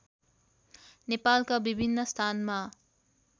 नेपालका विभिन्न स्थानमा